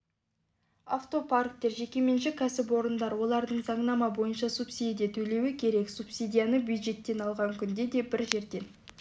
автопарктер жекеменшік кәсіпорындар оларға заңнама бойынша субсидия төлеуі керек субсидияны бюджеттен алған күнде де бір жерден